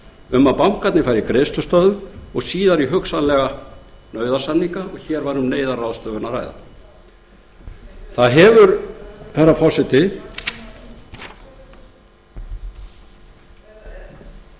um að bankarnir færu í greiðslustöðvun og síðar í hugsanlega nauðasamninga og hér væri um neyðarráðstöfun að ræða herra forseti lagður hefur